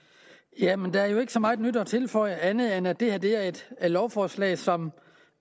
jamen der er jo ikke så meget nyt at tilføje andet end at det at det er et lovforslag som